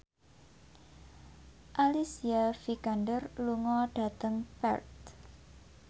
Alicia Vikander lunga dhateng Perth